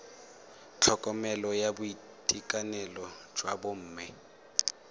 tlhokomelo ya boitekanelo jwa bomme